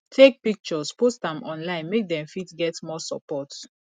take pictures post am online make dem fit get more support